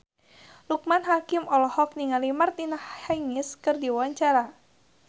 Loekman Hakim olohok ningali Martina Hingis keur diwawancara